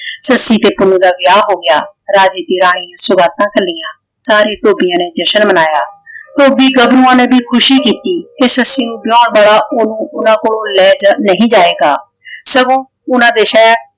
ਸੱਸੀ ਤੇ ਪੁੰਨੂੰ ਦਾ ਵਿਆਹ ਹੋ ਗਿਆ। ਰਾਜੇ ਦੀ ਰਾਣੀ ਸੌਗਾਤਾਂ ਘਲੀਆਂ। ਸਾਰੇ ਧੋਬੀਆਂ ਨੇ ਜਸ਼ਨ ਮਨਾਇਆ। ਧੋਬੀ ਗੱਭਰੂਆਂ ਨੇ ਭੀ ਖੁਸ਼ੀ ਕੀਤੀ ਕਿ ਸੱਸੀ ਨੂੰ ਬੁਲਾ ਬੜਾ ਓਹਨੂੰ ਉਹਨਾਂ ਕੋਲੋਂ ਲੈ ਨਹੀਂ ਜਾਏਗਾ ਸਗੋਂ ਓਹਨਾ ਦੇ ਸ਼ਹਿਰ